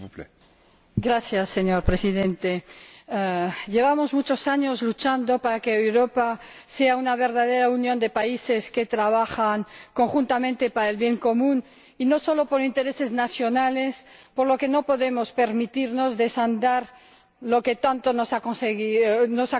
Señor Presidente, llevamos muchos años luchando para que Europa sea una verdadera unión de países que trabajan conjuntamente por el bien común y no solo por intereses nacionales, por lo que no podemos permitirnos desandar lo que tanto nos ha costado conseguir.